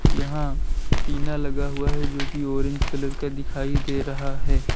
यहाँ टीना लगा हुआ है जो की ऑरेंज कलर का दिखाई दे रहा है।